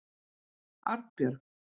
Arnbjörg